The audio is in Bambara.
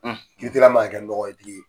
Kiritigɛla man ka kɛ nɔgɔtigi ye.